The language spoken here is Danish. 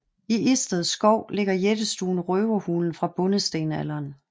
I Isted Skov ligger jættestuen Røverhulen fra bondestenalderen